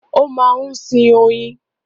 Ó máa ń sin oyin.